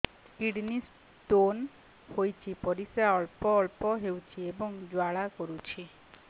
kidney stone ହୋଇଛି ପରିସ୍ରା ଅଳ୍ପ ଅଳ୍ପ ହେଉଛି ଏବଂ ଜ୍ୱାଳା କରୁଛି